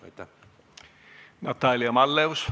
Natalia Malleus, palun!